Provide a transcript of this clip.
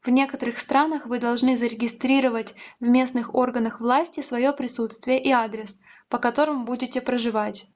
в некоторых странах вы должны зарегистрировать в местных органах власти своё присутствие и адрес по которому будете проживать